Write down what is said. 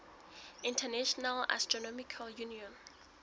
international astronomical union